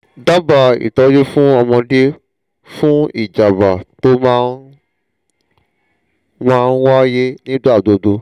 daba itoju fún ọmọdé fún ìjábá tó máa máa ń wáyé nígbà gbogbo